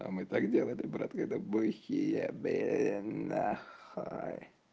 а мы так делали брат когда бухие были нахуй